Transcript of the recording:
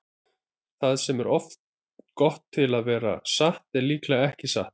Það sem er of gott til að vera satt er líklega ekki satt.